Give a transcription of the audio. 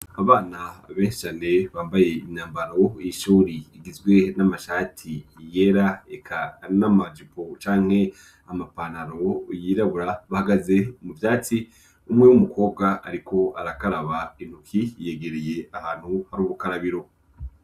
Abana benshi cane bambaye imyambaro y'ishuri igizwe n'amashati yera, eka n'amajipo canke amapantaro yirabura, bahagaze mu vyatsi umwe w'umukobwa ariko arakaraba intoki, yegereye ahantu hari ubukarabiro.